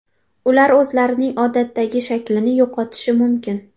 Ular o‘zlarining odatdagi shaklini yo‘qotishi mumkin.